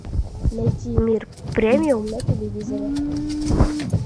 найти мир премиум на телевизоре